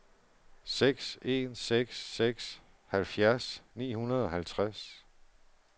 seks en seks seks halvfjerds ni hundrede og halvtreds